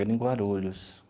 Era em Guarulhos.